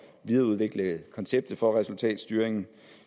videreudvikle konceptet for resultatstyring